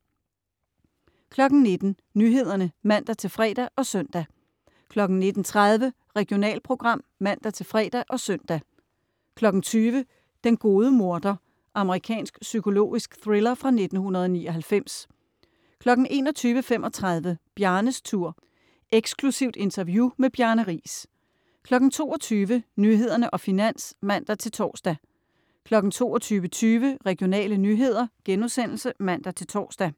19.00 Nyhederne (man-fre og søn) 19.30 Regionalprogram (man-fre og søn) 20.00 Den gode morder. Amerikansk psykologisk thriller fra 1999 21.35 Bjarnes Tour. Eksklusivt interview med Bjarne Riis 22.00 Nyhederne og Finans (man-tors) 22.20 Regionale nyheder* (man-tors)